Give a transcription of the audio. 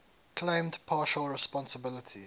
claimed partial responsibility